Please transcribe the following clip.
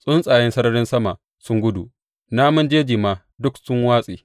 Tsuntsaye sararin sama sun gudu namun jeji ma duk sun watse.